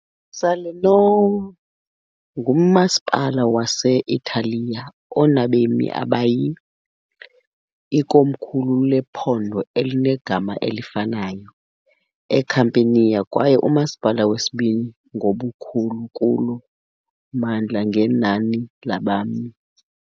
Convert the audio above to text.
Salerno ngumasipala wase -Italiya onabemi abayi, ikomkhulu lephondo elinegama elifanayo eCampania kwaye umasipala wesibini ngobukhulu kulo mmandla ngenani labemi.